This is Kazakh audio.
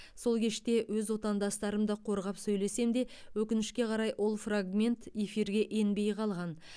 сол кеште өз отандастарымды қорғап сөйлесем де өкінішке қарай ол фрагмент эфирге енбей қалған